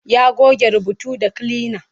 Ya goge rubutu da kilina.